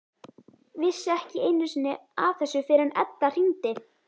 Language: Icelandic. Vissi ekki einu sinni af þessu fyrr en Edda hringdi.